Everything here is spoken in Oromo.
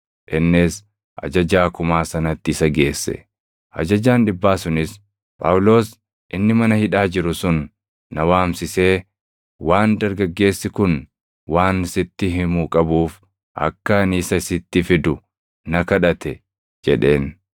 Innis ajajaa kumaa sanatti isa geesse. Ajajaan dhibbaa sunis, “Phaawulos inni mana hidhaa jiru sun na waamsisee waan dargaggeessi kun waan sitti himu qabuuf akka ani isa sitti fidu na kadhate” jedheen.